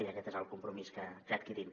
i aquest és el compromís que adquirim